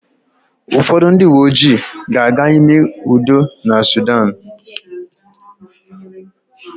Ụfọdụ ndị uwe ojii ga-aga ime udo na Sudan.